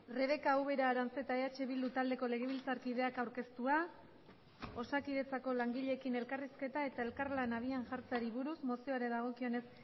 rebeka ubera aranzeta eh bildu taldeko legebiltzarkideak aurkeztua osakidetzako langileekin elkarrizketa eta elkarlana abian jartzeari buruz mozioari dagokionez